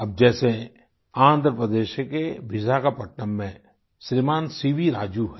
अब जैसे आन्ध्र प्रदेश के विशाखापट्टनम में श्रीमान सीवी राजू हैं